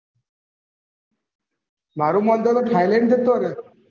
મારું માનતો હોય તો થઈલેન્ડ જતો રેહ